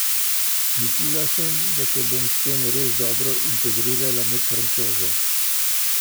Mislila sem, da se bom s tem res dobro integrirala med Francoze.